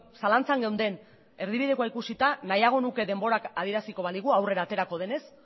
zalantzan geunden erdibidekoa ikusita nahiago nuke denborak adieraziko baligu aurrera aterako denez